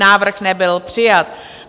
Návrh nebyl přijat.